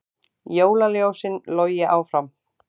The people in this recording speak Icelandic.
Jólaljósin logi áfram